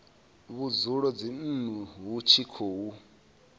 vhudzulo dzinnu hu tshi khou